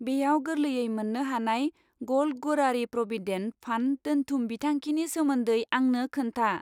बेयाव गोरलैयै मोन्नो हानाय गल्ड गोरारि प्रविडेन्ट फान्ड दोन्थुम बिथांखिनि सोमोन्दै आंनो खोन्था!